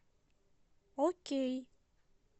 окей